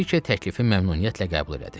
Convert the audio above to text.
Brike təklifi məmnuniyyətlə qəbul elədi.